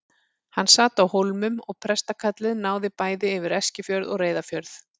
Hann sat á Hólmum og prestakallið náði bæði yfir Eskifjörð og Reyðarfjörð.